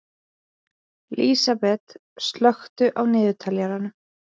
Lísabet, slökktu á niðurteljaranum.